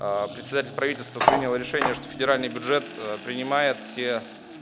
председатель правительство приняло решение что федеральный бюджет принимает все